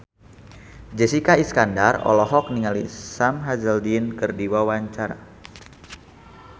Jessica Iskandar olohok ningali Sam Hazeldine keur diwawancara